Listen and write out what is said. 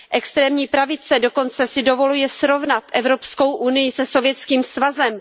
Extrémní pravice dokonce si dovoluje srovnat Evropskou unii se Sovětským svazem.